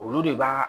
Olu de b'a